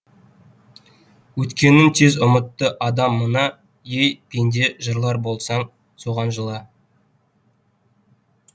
өткенін тез ұмытты адам мына ей пенде жылар болсаң соған жыла